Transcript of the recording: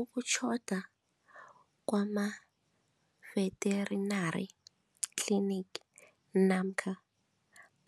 Ukutjhoda kwama-vetenary clinic namkha